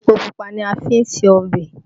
Epo pupa ni a fi ṣe ọbẹ̀